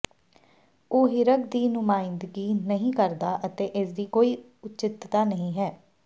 ਉਹ ਹਿਰਕ ਦੀ ਨੁਮਾਇੰਦਗੀ ਨਹੀਂ ਕਰਦਾ ਅਤੇ ਇਸਦੀ ਕੋਈ ਉਚਿੱਤਤਾ ਨਹੀਂ ਹੈ